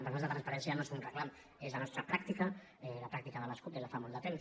per nosaltres la transparència no és un reclam és la nostra pràctica la pràctica de les cup des de fa molt de temps